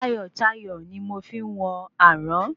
Tayọ̀tayọ̀ ni mo fi ń wọ àrán